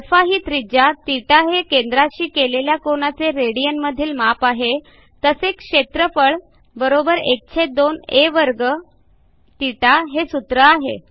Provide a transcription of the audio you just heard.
आ ही त्रिज्याθ हे केद्राशी केलेल्या कोनाचे रेडियन मधील माप आहे तसेच क्षेत्रफळ ½ आ2 θ हे सूत्र आहे